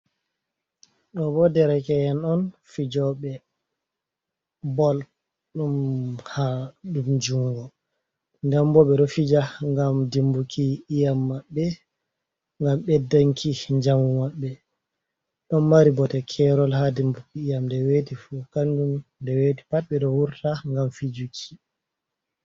Ɗo bo derake’en on fijobe bol ɗum ha... ɗum jungo. Nɗen bo ɓe ɗo fija ngam dimbuki iyam maɓɓe, ngam ɓeddanki njamu maɓɓe. Ɗon mari bote kerol ha dimbuki iyam. Nde weti fu kanjum... ɗe weti pat ɓe ɗo wurta ngam fijuki.